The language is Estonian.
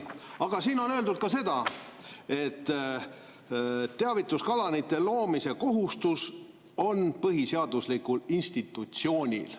Aga siin on öeldud ka seda, et teavituskanalite loomise kohustus on põhiseaduslikul institutsioonil.